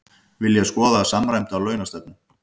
Vilja skoða samræmda launastefnu